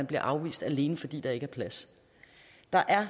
blive afvist alene fordi der ikke er plads der er